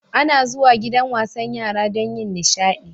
Ana zuwa gidan wasan yara don yin nishaɗi.